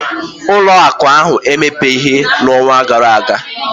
ụlọ akụ ahụ emepebeghị n'ọnwa gara aga